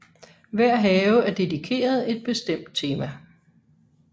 Hver have er dedikeret et bestemt tema